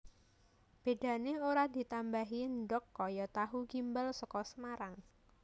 Bedane ora ditambahi ndhog kaya tahu gimbal saka Semarang